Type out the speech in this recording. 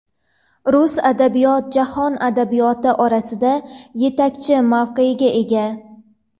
Rus adabiyot jahon adabiyoti orasida yetakchi mavqega ega.